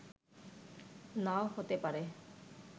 নাও হতে পারে